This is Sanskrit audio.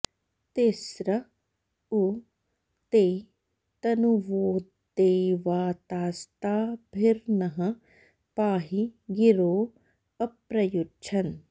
ति॒स्र उ॑ ते त॒नुवो॑ दे॒ववा॑ता॒स्ताभि॑र्नः पाहि॒ गिरो॒ अप्र॑युच्छन्